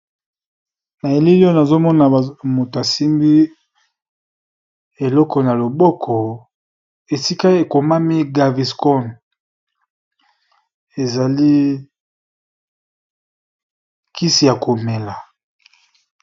Na elili oyo nazomona mutu simbi eloko na loboko, esika ekomami gavi scon ezali kisi ya komela.